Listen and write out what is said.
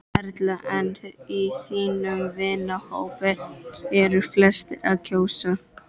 Erla: En í þínum vinahópi, eru flestir að kjósa?